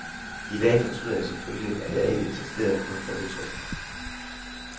I dag fortryder jeg selvfølgelig, at jeg ikke insisterede på at få det på tryk.